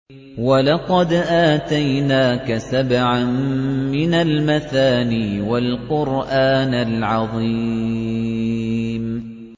وَلَقَدْ آتَيْنَاكَ سَبْعًا مِّنَ الْمَثَانِي وَالْقُرْآنَ الْعَظِيمَ